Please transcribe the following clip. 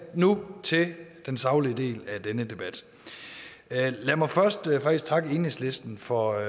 nu til den saglige del af denne debat lad mig først faktisk takke enhedslisten for at